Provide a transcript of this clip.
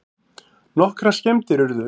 Nokkrar skemmdir urðu